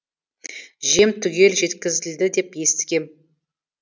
жем түгел жеткізілді деп естігем